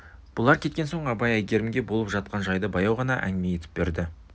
бұлар кеткен соң абай әйгерімге болып жатқан жайды баяу ғана әңгіме етіп берді